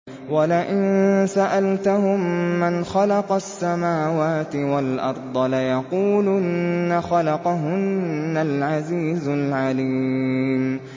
وَلَئِن سَأَلْتَهُم مَّنْ خَلَقَ السَّمَاوَاتِ وَالْأَرْضَ لَيَقُولُنَّ خَلَقَهُنَّ الْعَزِيزُ الْعَلِيمُ